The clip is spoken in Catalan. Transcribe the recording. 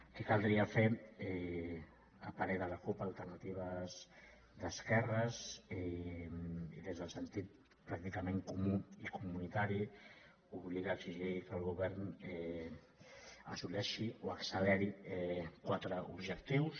què caldria fer a parer de la cup alternativa d’esquerres i des del sentit pràcticament comú i comunitari obligar exigir que el govern assoleixi o acceleri quatre objectius